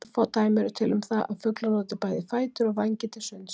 Örfá dæmi eru til um það að fuglar noti bæði fætur og vængi til sunds.